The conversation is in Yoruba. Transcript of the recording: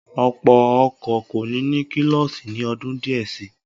Ọ̀pọ̀ ọkọ̀ kò ní ní kílọ́ọ̀sì ni ọdún díẹ̀ si.